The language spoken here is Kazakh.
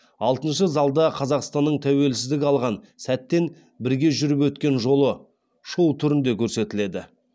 алтыншы залда қазақстанның тәуелсіздік алған сәттен бірге жүріп өткен жолы шоу түрінде көрсетіледі